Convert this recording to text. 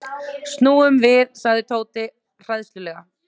Snúum við sagði Tóti hræðslulega.